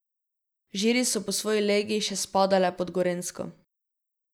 Žiri so po svoji legi še spadale pod Gorenjsko.